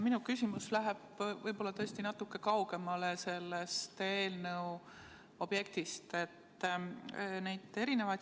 Minu küsimus läheb võib-olla tõesti natuke kaugemale sellest eelnõu objektist.